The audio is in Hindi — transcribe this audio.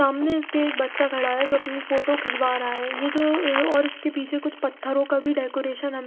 सामने इसके एक बच्चा खड़ा है जो अपनी फोटो खिचवा रा है ये जो अ और इसके पीछे कुछ पथरो का भी डेकोरेशन हमे--